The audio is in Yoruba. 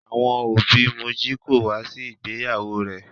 Àwọn òbí Moji kò wá sí ìgbéyàwó rẹ̀.